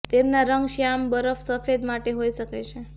તેમના રંગ શ્યામ બરફ સફેદ માટે હોઈ શકે છે